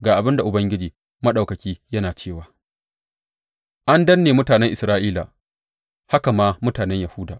Ga abin da Ubangiji Maɗaukaki yana cewa, An danne mutanen Isra’ila, haka ma mutanen Yahuda.